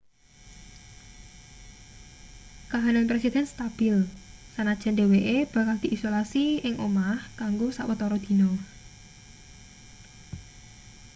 kahanan presiden stabil senajan dheweke bakal diisolasi ing omah kanggo sawetara dina